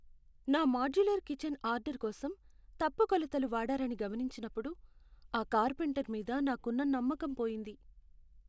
నా modular kitchen order కోసం తప్పు కొలతలు వాడారని గమనించినప్పుడు ఆ కార్పెంటర్ మీద నాకున్న నమ్మకం పోయింది.